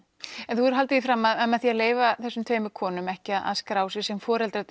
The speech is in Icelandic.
hefur haldið því fram að með því að leyfa þessum konum ekki að skrá sig sem foreldra